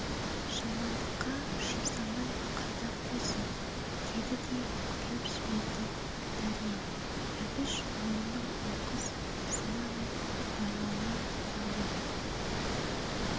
жамандыққа жұмсамай қайда қойсын деді де күліп жіберді дәрмен әбіш ойының оқыс сыны мен байлауына танданып